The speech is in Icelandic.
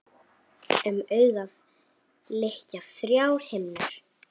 Um augað lykja þrjár himnur.